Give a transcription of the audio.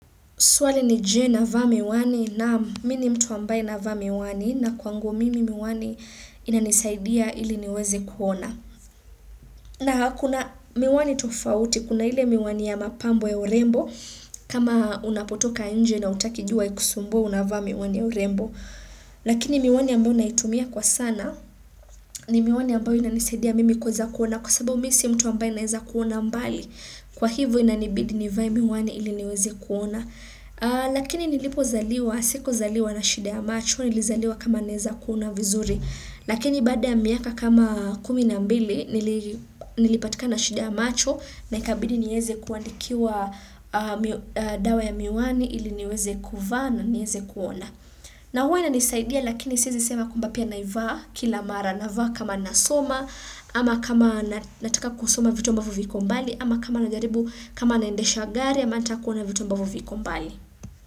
Swali ni je, navaa miwani? Naam, mi ni mtu ambaye navaa miwani na kwangu mimi miwani inanisaidia ili niweze kuona. Na kuna miwani tofauti, kuna ile miwani ya mapambo ya urembo, kama unapotoka nje na hutaki jua ikusumbue, unavaa miwani ya urembo. Lakini miwani ambayo naitumia kwa sana, ni miwani ambayo inanisaidia mimi kuweza kuona, kwa sababu mi si mtu ambaye naeza kuona mbali, kwa hivyo inanibidi nivae miwani ili niweze kuona. Lakini nilipozaliwa, sikuzaliwa na shida ya macho, nilizaliwa kama naeza kuona vizuri, lakini baada ya miaka kama kumi na mbili nilipatikana na shida ya macho na ikabidi niweze kuandikiwa dawa ya miwani ili niweze kuvaa na niweze kuona. Na huwa inanisaidia lakini siezi sema kwamba pia naivaa kila mara. Navaa kama nasoma ama kama nataka kusoma vitu ambavyo viko mbali ama kama najaribu kama naendesha gari ama nataka kuona vitu ambavyo viko mbali.